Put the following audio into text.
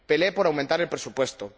Pelee por aumentar el presupuesto